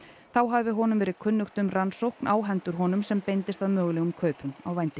þá hafi honum verið kunnugt um rannsókn á hendur honum sem beindist að mögulegum kaupum á vændi